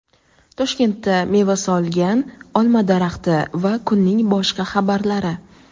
Toshkentda meva solgan olma daraxti va kunning boshqa xabarlari.